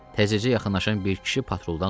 Təzəcə yaxınlaşan bir kişi patruldan soruşdu.